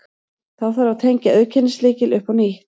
Þá þarf að tengja auðkennislykil upp á nýtt.